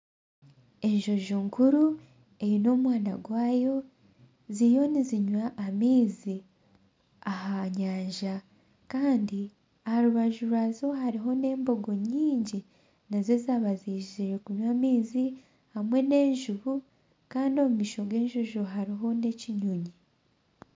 Enjojo nkuru eine omwana gwayo ziriyo nizinywa amaizi aha nyanja Kandi aha rubaju rwazo hariho n'embogo ngingi nazo zaba zizire kunywa amaizi hamwe n'enjubu Kandi omu maisho g'enjojo harimu n'ekinyonyi